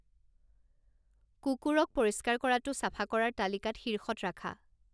কুকুৰক পৰিষ্কাৰ কৰাটো চাফা কৰাৰ তালিকাত শীৰ্ষত ৰাখা